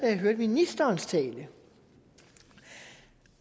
jeg hørte ministerens tale